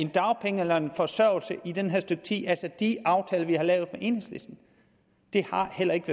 dagpenge eller forsørgelse i det her stykke tid altså med de aftaler vi har lavet med enhedslisten det har heller ikke